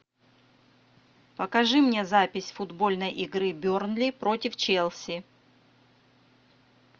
покажи мне запись футбольной игры бернли против челси